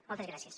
moltes gràcies